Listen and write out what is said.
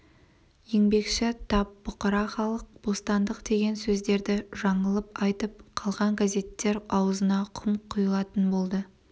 еңбекші тап бұқара халық бостандық деген сөздерді жаңылып айтып қалған газеттер аузына құм құйылатын болды